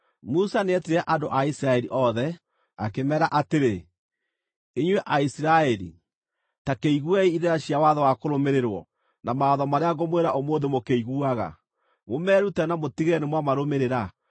Musa nĩetire andũ a Isiraeli othe, akĩmeera atĩrĩ: Inyuĩ Aisiraeli, ta kĩiguei irĩra cia watho wa kũrũmĩrĩrwo, na mawatho marĩa ngũmwĩra ũmũthĩ mũkĩiguaga. Mũmeerute na mũtigĩrĩre nĩ mwamarũmĩrĩra.